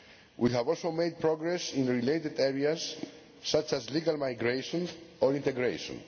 We have also made progress in related areas such as legal migration and integration.